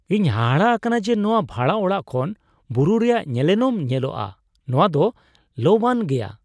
ᱤᱧ ᱦᱟᱦᱟᱲᱟᱜ ᱟᱠᱟᱱᱟ ᱡᱮ ᱱᱚᱶᱟ ᱵᱷᱟᱲᱟ ᱚᱲᱟᱜ ᱠᱷᱚᱱ ᱵᱩᱨᱩ ᱨᱮᱭᱟᱜ ᱧᱮᱱᱮᱞᱚᱢ ᱧᱮᱞᱚᱜᱼᱟ, ᱱᱚᱶᱟ ᱫᱚ ᱞᱚᱵᱼᱟᱱ ᱜᱮᱭᱟ ᱾